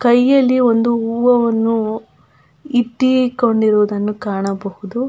ಕೈಯಲ್ಲಿ ಒಂದು ಹೂವನ್ನು ಇಟ್ಟಿಕೊಂಡಿರುವುದನ್ನು ಕಾಣಬಹುದು.